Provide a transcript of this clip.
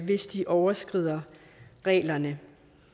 hvis de overtræder reglerne